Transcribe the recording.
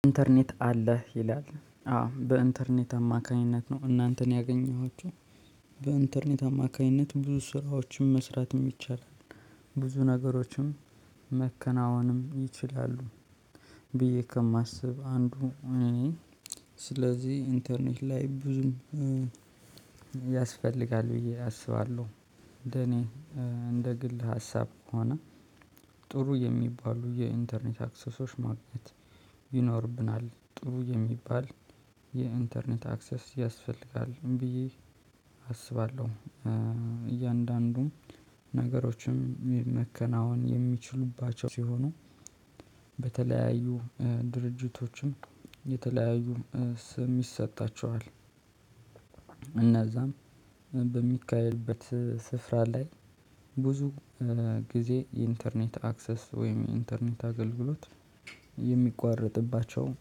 ኢንተርኔት አለህ ይላል? አዎ በኢንተርኔት አማካኝነት ነው እናንተን ያገኘኋችሁ። በኢንተርኔት አማካኝነት ብዙ ስራዎችም መስራትም ይቻላል። ብዙ ነገሮችም ማከናወንም ይችላሉ። ብዬ ከማስብ አንዱ። ስለዚህ ኢንተርኔት ላይ ብዙም ያስፈልጋል ብዬ አስባለሁ። እንደኔ እንደ ግል ሀሳብ ከሆነ ጥሩ የሚባሉ የኢንተርኔት አክሰሶች ማግኘት ይኖርብናል። ጥሩ የሚባል የኢንተርኔት አክሰስ ያስፈልጋል ብዬ አስባለሁ። እያንዳንዱ ነገሮችም መከናወን የሚችሉባቸው ሲሆኑ በተለያዩ ድርጅቶችም የተለያዩ ስም ይሰጣቸዋል። እዛም በሚካሄድበት ስፍራ ላይ ብዙ ጊዜ የኢንተርኔት አክሰስ ወይም የኢንተርኔት አገልግሎት የሚቋረጥባቸው